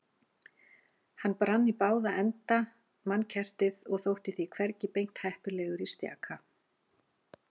Hann brann í báða enda mannkertið og þótti því hvergi beint heppilegur í stjaka